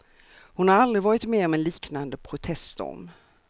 Hon har aldrig varit med om en liknande proteststorm.